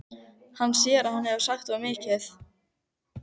Hann sér að hann hefur sagt of mikið.